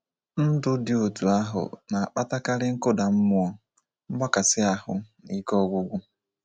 Ndụ dị otu ahụ na-akpatakarị nkụda mmụọ, mgbakasị ahụ, na ike ọgwụgwụ.